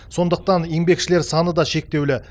сондықтан еңбекшілер саны да шектеулі